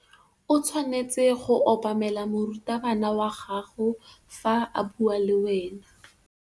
O tshwanetse go obamela morutabana wa gago fa a bua le wena.